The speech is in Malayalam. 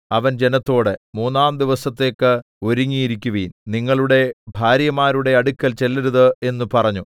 അവൻ ജനത്തോട് മൂന്നാം ദിവസത്തേക്ക് ഒരുങ്ങിയിരിക്കുവിൻ നിങ്ങളുടെ ഭാര്യമാരുടെ അടുക്കൽ ചെല്ലരുത് എന്നു പറഞ്ഞു